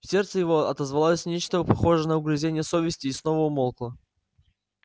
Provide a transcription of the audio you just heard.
в сердце его отозвалось нечто похожее на угрызение совести и снова умолкло